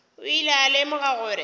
o ile a lemoga gore